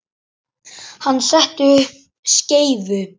Hann setti upp skeifu.